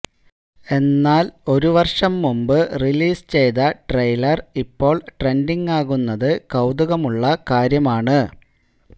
എന്നാല് ഒരു വര്ഷം മുന്പ് റിലീസ് ചെയ്ത ട്രെയിലര് ഇപ്പോള് ട്രെന്ഡിങാകുന്നത് കൌതുകമുള്ള കാര്യമാണ്